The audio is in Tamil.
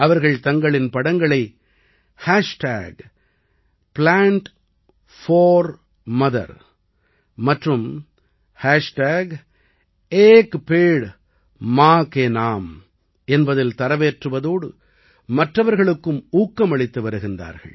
அவர்கள் தங்களின் படங்களை Plant4Mother மற்றும் एक पेड़ मां के नाम என்பதில் தரவேற்றுவதோடு மற்றவர்களுக்கும் ஊக்கமளித்து வருகிறார்கள்